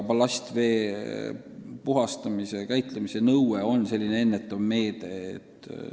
Ballastvee puhastamise ja käitlemise nõue on ennetav meede.